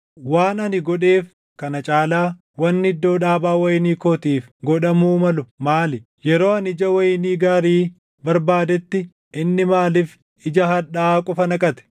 Waan ani godheef kana caalaa wanni iddoo dhaabaa wayinii kootiif godhamuu malu maali? Yeroo ani ija wayinii gaarii barbaadetti inni maaliif ija hadhaaʼaa qofa naqate?